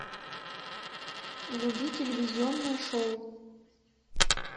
вруби телевизионное шоу